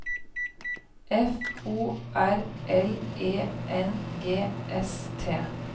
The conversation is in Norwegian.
F O R L E N G S T